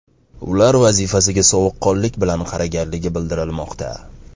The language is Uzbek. Ular vazifasiga sovuqqonlik bilan qaraganligi bildirilmoqda.